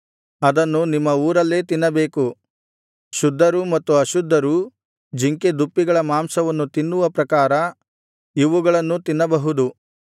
ಅದನ್ನು ನಿಮ್ಮ ಊರಲ್ಲೇ ತಿನ್ನಬೇಕು ಶುದ್ಧರೂ ಮತ್ತು ಅಶುದ್ಧರೂ ಜಿಂಕೆ ದುಪ್ಪಿಗಳ ಮಾಂಸವನ್ನು ತಿನ್ನುವ ಪ್ರಕಾರ ಇವುಗಳನ್ನೂ ತಿನ್ನಬಹುದು